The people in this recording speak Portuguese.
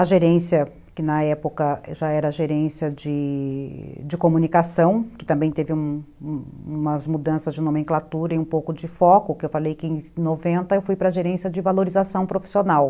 A gerência, que na época já era a gerência de de comunicação, que também teve umas umas mudanças de nomenclatura e um pouco de foco, que eu falei que em noventa eu fui para a gerência de valorização profissional.